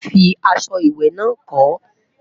fí aṣọ ìwé nà kò